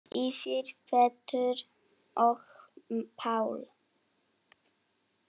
Fyrir Pétur og Pál.